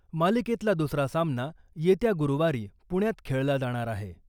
मालिकेतला दुसरा सामना येत्या गुरुवारी पुण्यात खेळला जाणार आहे .